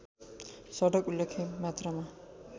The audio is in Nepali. सडक उल्लेख्य मात्रामा